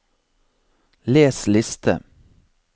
les liste